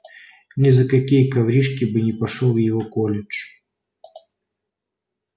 ни за какие коврижки не пошёл бы в его колледж